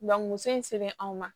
Ban muso in sɛbɛn anw ma